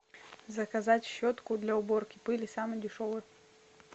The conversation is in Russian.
заказать щетку для уборки пыли самую дешевую